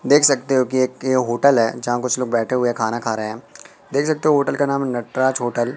देख सकते हो कि एक ये होटल है जहां कुछ लोग बैठे हुए खाना खा रहे हैं देख सकते हो होटल का नाम नटराज होटल --